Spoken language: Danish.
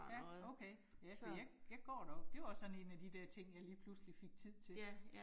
Ja, okay, altså jeg jeg går deroppe. Det var også sådan 1 af de der ting, jeg lige pludselig fik tid til